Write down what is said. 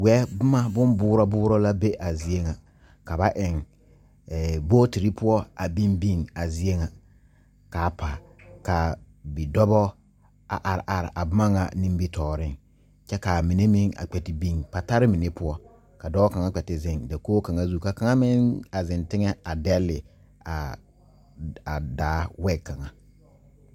Weɛ bomma bon boɔɔrɔ boɔɔrɔ la be a zie ŋa ka ba eŋ ee booterre poɔ a biŋ biŋ a zie ŋa kaa pa ka bidɔbɔ a are are a bomma ŋa nimitooreŋ kyɛ kaa mine meŋ a kpɛ te biŋ patarre mine poɔ ka dɔɔ kaŋa kpɛ te zeŋ dakoge kaŋa zu ka kaŋa meŋ zeŋ teŋɛ a dɛlle aa daa wɛg kaŋa.